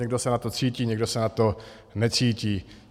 Někdo se na to cítí, někdo se na to necítí.